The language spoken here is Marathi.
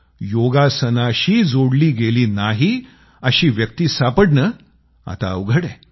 योगासनाशी जोडला गेला नाही अशी व्यक्ती सापडणं आता अवघड आहे